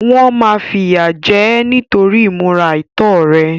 Wọ́n máa fìyà jẹ ẹ́ nítorí ìmúra àìtọ́ rẹ̀.